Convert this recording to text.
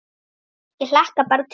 Ég hlakka bara til